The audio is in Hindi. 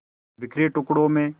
बिखरे टुकड़ों में